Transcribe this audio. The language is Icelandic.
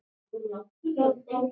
Þýsk hjón með